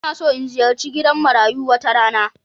Ina so in ziyarci gidan marayu wata rana.